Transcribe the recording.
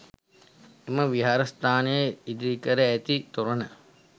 එම විහාරස්ථානයේ ඉදිකර ඇති තොරණ